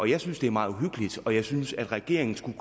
jeg synes det er meget uhyggeligt og jeg synes at regeringen skulle